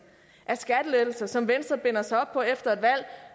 af skattelettelser som venstre binder sig op på efter et valg